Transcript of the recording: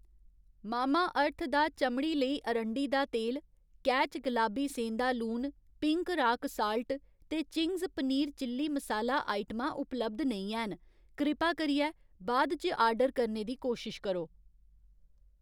Mamaearth दा चमड़ी लेई अरंडी दा तेल, कैच गलाबी सेंधा लून, पिंक राक साल्ट ते चिंग्स पनीर चिली मसाला आइटमां उपलब्ध नेईं हैन, कृपा करियै बाद इच आर्डर करने दी कोशश करो